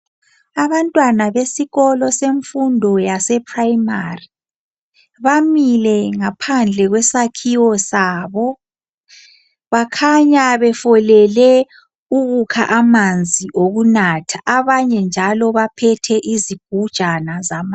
Abantwana besikolo semfundo yaseprimary, bamile ngaphandle kwesakhiwo sabo. Bakhanya befolele ukukha amanzi okunatha, abanye njalo baphethe izigujana zamanzi